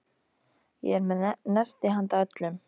Ég er með nesti handa öllum.